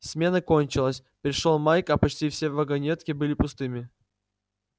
смена кончилась пришёл майк а почти все вагонетки были пустыми